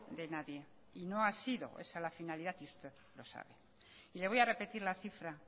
de nadie y no ha sido esa la finalidad y usted lo sabe y le voy a repetir la cifra